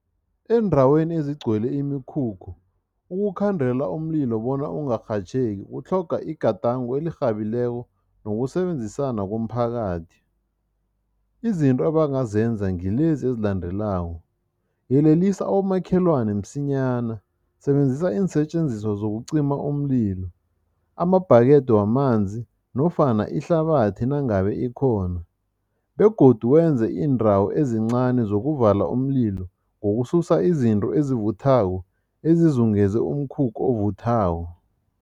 Endaweni ezigcwele imikhukhu, ukukhandela umlilo bona ungarhatjheki, kutlhoga igadango elirhabileko nokusebenzisana komphakathi. Izinto abangazenza ngilezi ezilandelako, yelelisa abomakhelwane msinyana, sebenzisa iinsetjenziswa zokucima umlilo, amabhakede wamanzi nofana ihlabathi nangabe ikhona begodu wenze iindawo ezincani zokuvala umlilo ngokususa izinto ezivuthako ezizungeze umkhukhu ovuthako.